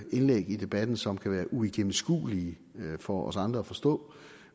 indlæg i debatten som kan være uigennemskuelige for os andre at forstå